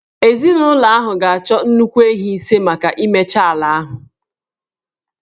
Ezinụlọ ahụ ga-achọ nnukwu ehi ise maka imecha ala ahụ